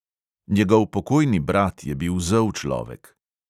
Njegov pokojni brat je bil zel človek.